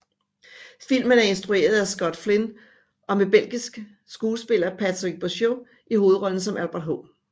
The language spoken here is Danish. Filmen er instrueret af Scott Flynn og med belgisk skuespiller Patrick Bauchau i hovedrollen som Albert H